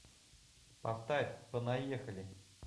поставь понаехали